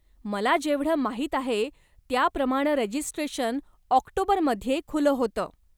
मला जेवढं माहीत आहे त्याप्रमाणं रजिस्ट्रेशन ऑक्टोबरमध्ये खुलं होतं.